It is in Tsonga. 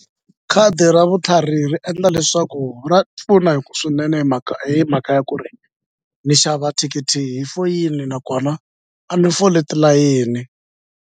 Khadi ra vutlhari ri endla leswaku ra pfuna swinene hi mhaka hi mhaka ya ku ri ni xava thikithi hi foyini nakona a ni foli tilayeni.